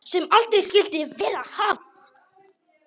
Sem aldrei skyldi verið hafa.